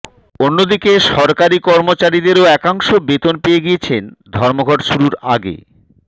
অন্যদিকে সরকারি কর্মচারীদেরও একাংশ বেতন পেয়ে গিয়েছেন ধর্মঘট শুরুর আগে